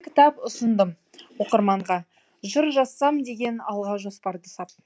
кітап ұсындым оқырманға жыр жазсам деген алға жоспарды сап